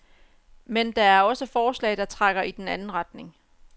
Men der er også forslag, der trækker i den anden retning.